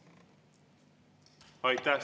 Aitäh!